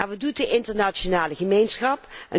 Wat doet de internationale gemeenschap?